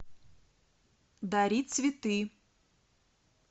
дари цветы